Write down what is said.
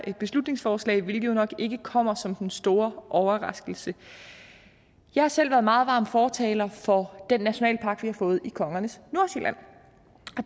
beslutningsforslag hvilket jo nok ikke kommer som den store overraskelse jeg har selv været en meget varm fortaler for den nationalpark vi har fået i kongernes nordsjælland